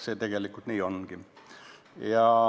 See tegelikult nii ongi.